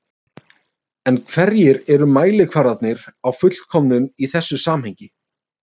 En hverjir eru mælikvarðarnir á fullkomnun í þessu samhengi?